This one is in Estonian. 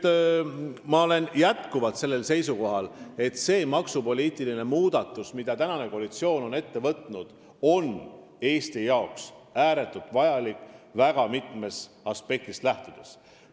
Ma olen jätkuvalt seisukohal, et see maksupoliitiline muudatus, mille praegune koalitsioon on ette võtnud, on Eesti jaoks ääretult vajalik väga mitmest aspektist lähtudes.